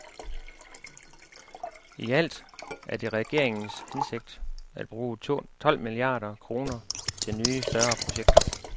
I alt er det regeringens hensigt at bruge tolv milliarder kroner til nye større projekter.